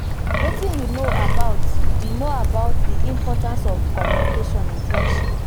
wetin you know about di know about di importance of communication in friendship?